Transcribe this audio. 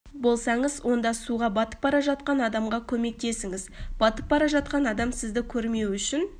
болсаңыз онда суға батып бара жатқан адамға көмектесіңіз батып бара жатқан адам сізді көрмеуі үшін